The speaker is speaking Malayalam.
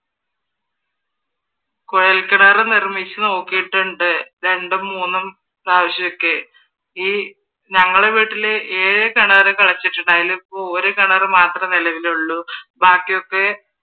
കുഴൽ കിണർ നിർമ്മിച്ച് നോക്കിയിട്ടുണ്ട്. രണ്ടും മൂന്നും പ്രാവശ്യമൊക്കെ ഈ ഞങ്ങള വീട്ടില് ഏഴു കിണർ കിളച്ചിട്ടുണ്ട് അതിലിപ്പോ ഒരു കിണറ് മാത്രമേ നിലവിലുള്ളു ബാക്കിയൊക്കെ